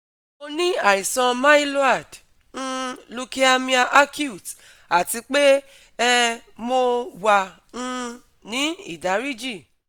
Mo ni aisan myloid um lukeamia accute ati pe um mo wa um ni idariji